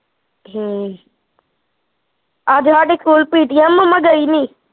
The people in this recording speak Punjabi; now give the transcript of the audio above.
ਹਮ ਅੱਜ ਸਾਡੇ ਸਕੂਲ PTM ਮੰਮਾ ਗਈ ਨੀ